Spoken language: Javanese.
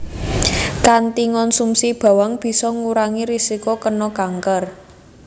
Kanthi ngonsumsi bawang bisa ngurangi risiko kéna kanker